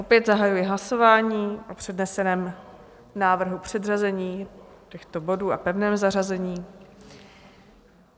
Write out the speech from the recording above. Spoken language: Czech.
Opět zahajuji hlasování o předneseném návrhu předřazení těchto bodů a pevném zařazení.